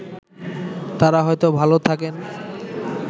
তারা হয়তো ভাল থাকেন